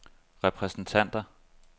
repræsentanter